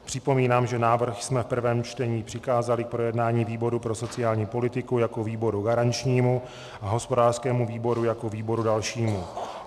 Připomínám, že návrh jsme v prvém čtení přikázali k projednání výboru pro sociální politiku jako výboru garančnímu a hospodářskému výboru jako výboru dalšímu.